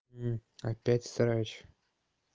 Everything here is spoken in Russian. опять срач